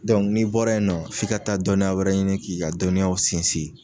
n'i bɔra yen nɔ f'i ka taa dɔnniya wɛrɛ ɲini k'i ka dɔnniyaw sinsin.